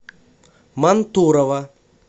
мантурово